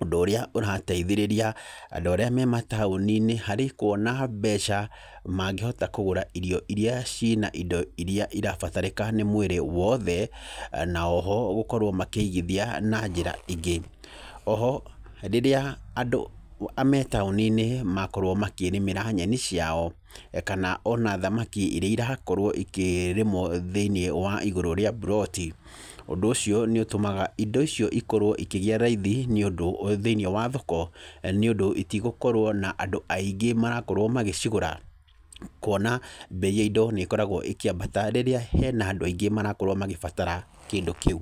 ũndũ ũrĩa ũrateithĩrĩria andũ arĩa me mataũni-inĩ harĩ kwona mbeca mangĩhota kũgũra irio iria cina indo iria irabatarĩka nĩ mwĩrĩ wothe, na oho gũkorwo makĩigithia na njĩra ingĩ. Oho, rĩrĩa andũ me taũni-inĩ makorwo makĩrĩmĩra nyeni ciao, kana ona thamaki iria irakorwo ikĩrĩmwo thĩiniĩ wa igũrũ ria mburoti , ũndũ ũcio nĩ ũtũmaga indo icio ikorwo ikĩgĩa raithi nĩ ũndũ, thĩiniĩ wa thoko nĩ ũndũ itigũkorwo na andũ aingĩ marakorwo magĩcigũra, kwona mbei ya indo nĩ koragwo ĩkĩambata rĩrĩa hena andũ aingĩ marakorwo magĩbatara kĩndũ kĩu.